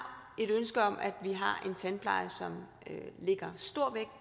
et ønske om at vi har en tandpleje som lægger stor vægt